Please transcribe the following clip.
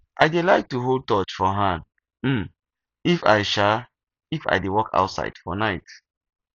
i dey like to hold torch for hand um if i um if i dey walk outside for night